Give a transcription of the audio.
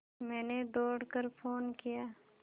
मैंने दौड़ कर फ़ोन किया